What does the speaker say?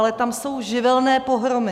Ale tam jsou živelní pohromy.